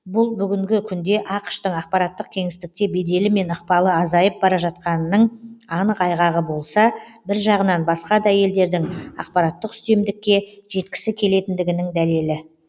бұл бүгінгі күнде ақш тың ақпараттық кеңістікте беделі мен ықпалы азайып бара жатқанының анық айғағы болса бір жағынан басқа да елдердің ақпараттық үстемдікке жеткісі келетіндігінің дәлелі